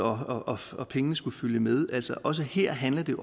og at pengene skulle følge med altså også her handler det